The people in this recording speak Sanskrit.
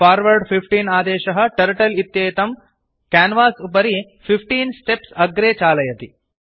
फॉर्वर्ड 15 आदेशः टर्टल इत्येतं क्यान्वास् उपरि 15 स्टेप्स् अग्रे चालयति